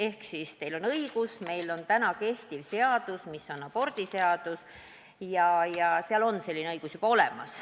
Ehk et teil on õigus – meil on olemas kehtiv abordiseadus, milles on selline õigus juba olemas.